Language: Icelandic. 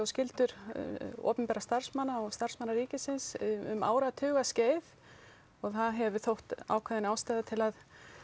skyldur opinberra starfsmanna og starfsmanna ríkisins um áratuga skeið og það hefur þótt ákveðin ástæða til að